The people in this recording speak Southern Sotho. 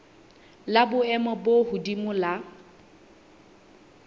la boemo bo hodimo la